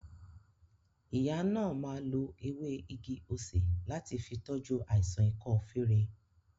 Ìyá náà má lo ewé igi-osè láti fi tọ́jú àìsàn ikọ́ fere